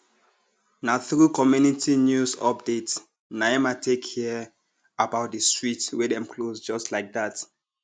na through community news update naim i take hear about di street wey dem close just like dat